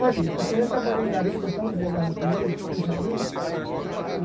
Ficava ali, porque eu já trabalhei em garimpo, com essa mulher queandava comigo, no.